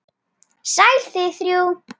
Sæl þið þrjú.